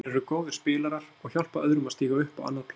Þeir eru góðir spilarar og hjálpa öðrum að stíga upp á annað plan.